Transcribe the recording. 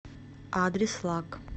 адрес лак